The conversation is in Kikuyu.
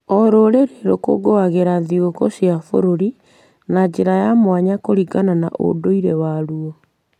O rũrĩrĩ rũkũngũagĩra thigũkũ cia bũrũri na njĩra ya mwanya kũringana na ũndũire waruo.